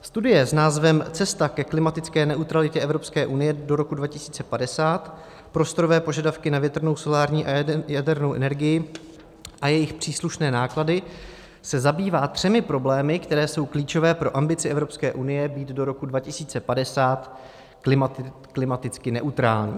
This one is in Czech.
Studie s názvem Cesta ke klimatické neutralitě Evropské unie do roku 2050, prostorové požadavky na větrnou, solární a jadernou energii a jejich příslušné náklady, se zabývá třemi problémy, které jsou klíčové pro ambici Evropské unie být do roku 2050 klimaticky neutrální.